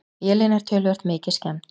Vélin er töluvert mikið skemmd.